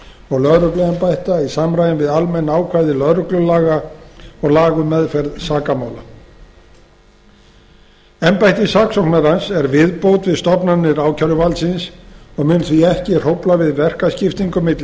og lögregluembætta í samræmi við almenn ákvæði lögreglulaga og laga um meðferð sakamála embætti saksóknarans er viðbót við stofnanir ákæruvaldsins og mun því ekki hrófla við verkaskiptingu milli